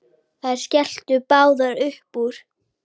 Þær skelltu báðar upp úr.